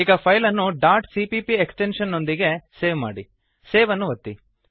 ಈಗ ಫೈಲ್ ಅನ್ನು dot CPP extension ನೊಂದಿಗೆ ಸೇವ್ ಮಾಡಿ ಸೇವ್ ಅನ್ನು ಒತ್ತಿ